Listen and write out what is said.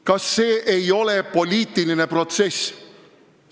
Kas see ei ole poliitiline protsess?